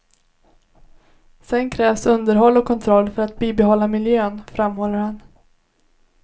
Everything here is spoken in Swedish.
Sedan krävs underhåll och kontroll för att bibehålla miljön, framhåller han.